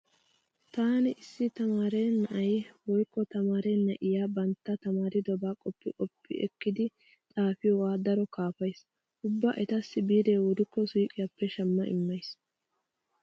Taani issi tamaare na'ay woykko tamaare na'iya bantta tamaaridobaa qoppi qoppi ekkidi xaafiyogaa daro kaafays. Ubba etassi biiree wurikko suuqiyappe shamma immays.